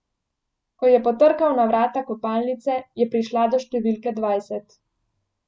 Ko je potrkal na vrata kopalnice, je prišla do številke dvajset.